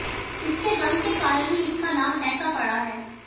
इसके रंग के कारण ही इसका नाम ऐसा पड़ा है